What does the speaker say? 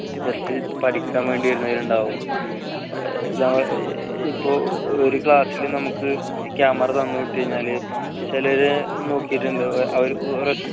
just പഠിക്കാൻ വേണ്ടി വരുന്നവർ ഉണ്ടാവും ഇപ്പോ ഒരു class ല് നമുക്ക് camera തന്നു വിട്ടു കഴിഞ്ഞാല് ചിലരെ നോക്കിയിട്ടുണ്ട് അവരൂ ഒരൊറ്റ